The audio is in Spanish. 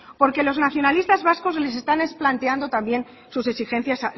porque los nacionalistas vascos les están planteando también sus exigencias